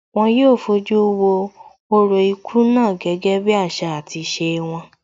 Wón yóò fojú wo orò ikú náà gẹ́gẹ́ bí àṣà àti ìṣe wọn